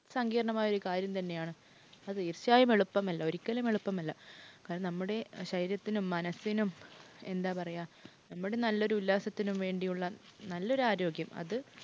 സങ്കീർണമായ ഒരു കാര്യം തന്നെയാണ്. അത് തീർച്ചയായും എളുപ്പമല്ല. ഒരിക്കലും എളുപ്പമല്ല. കാരണം നമ്മുടെ ശരീരത്തിനും മനസിനും, എന്താ പറയുക? നമ്മുടെ നല്ലൊരു ഉല്ലാസത്തിനും വേണ്ടിയുള്ള നല്ലൊരു ആരോഗ്യം അത്